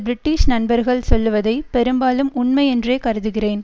British நண்பர்கள் சொல்லுவதை பெரும்பாலும் உண்மை என்றே கருதுகிறேன்